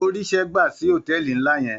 Ó ríṣẹ́ gbà sí hòtéẹ̀lì ńlá yẹn.